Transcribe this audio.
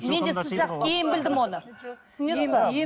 мен де сіз сияқты кейін білдім оны түсінесіз бе